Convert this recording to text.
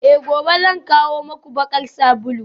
Eh gobe zan kawo muku bakar sabulu